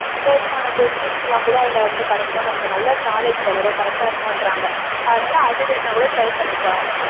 போதுமான questions எல்லாம் கூட அதுல இருந்து கிடைக்கும் நமக்கு நல்லா knowledge வளரும் correct ஆ இருக்குன்றாங்க அதுனால அது வேணா கூட try பண்ணிப்பாரு